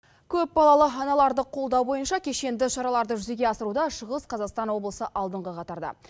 көп балалы аналарды қолдау бойынша кешенді шараларды жүзеге асыруда шығыс қазақстан облысы алдыңғы қатарда